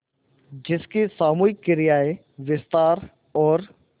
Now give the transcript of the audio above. जिसकी सामूहिक क्रियाएँ विस्तार और